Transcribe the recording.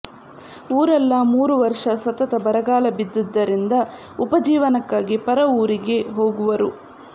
ಊರಲ್ಲ ಮೂರು ವರ್ಷ ಸತತ ಬರಗಾಲ ಬಿದ್ದುದರಿಂದ ಉಪಜೀವನಕ್ಕಾಗಿ ಪರ ಊರಿಗೆ ಹೋಗುವರು